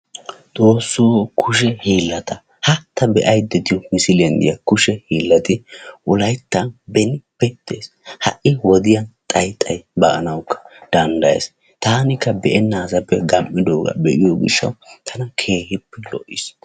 XOOSSOO kushe hiillata ha ta be7ayidda diyo misiliyan diya kushe hiillati wolayttan benippe des ha7i wodiyan xayi xayi baanawukka danddayes. Taanikka be7ennaasappe gam7idooga be7ido gishshawu tana keehippe lo7is.